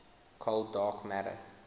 cold dark matter